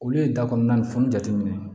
Olu ye da kɔnɔna ni fini jateminɛ